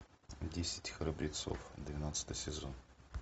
десять храбрецов двенадцатый сезон